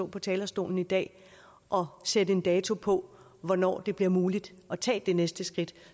på talerstolen i dag og sætte en dato på hvornår det bliver muligt at tage det næste skridt